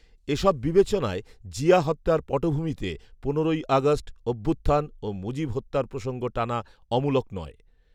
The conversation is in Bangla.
এ সব বিবেচনায়, জিয়া হত্যার পটভূমিতে পনেরোই আগষ্ট অভ্যুত্থান ও মুজিব হত্যার প্রসঙ্গ টানা অমূলক নয়